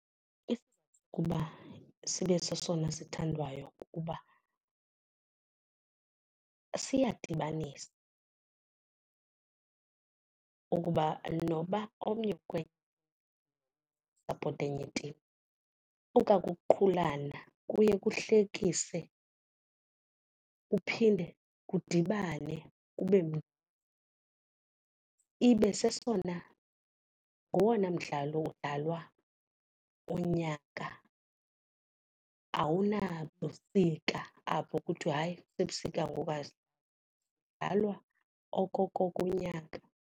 ukuba sibe sesona sithandwayo kukuba siyadibanisa ukuba noba omnye usapota enye itim okwa kuqhulana kuye kuhlekise. Kuphinde kudibane kube , ibe sesona ngowona mdlalo udlalwa unyaka awunabusika apho kuthiwa, hayi kusebusika ngoku, kudlalwa okoko kunyaka.